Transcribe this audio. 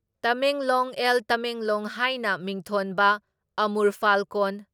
ꯇꯃꯦꯡꯂꯣꯡ ꯑꯦꯜ ꯇꯃꯦꯡꯂꯣꯡ ꯍꯥꯏꯅ ꯃꯤꯡꯊꯣꯟꯕ ꯑꯃꯨꯔ ꯐꯥꯜꯀꯣꯟ